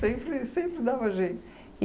Sempre sempre dava jeito.